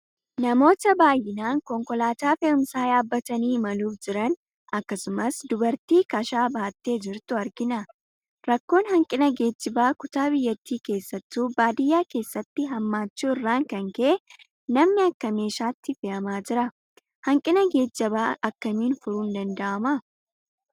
Namoota baay'inaan konkolaataa fe'umsaa yaabbatanii imaluuf jiran akkasumas dubartii kashaa baattee jirtu argina. Rakkoon hanqina geejjibaa kutaa biyyattii keessattuu baadiyaa keessatti hammaachuu irraan kan ka'e namni akka meeshaatti fe'amaa jira. Hanqina geejjibaa akkamiin furuun danda'ama?